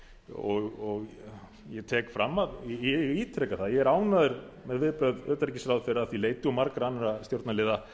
og ég tek fram ég ítreka það að ég er ánægður með viðbrögð utanríkisráðherra að því leyti og margra annarra stjórnarliða